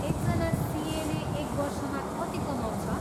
एकजना सिएले एक वर्षमा कति कमाउँछ?